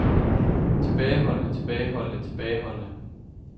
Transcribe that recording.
tilbageholdende tilbageholdende tilbageholdende